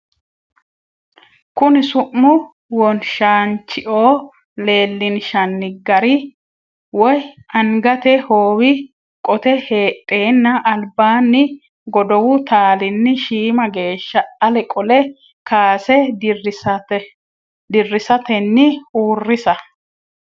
Kuni su’mu wonshaanchio leellinshanni gari(b woy angate hoowi qote heedheenna albaanni godowu taalinni shiima geeshsha ale qole kaase dirrisatenni uurrisa.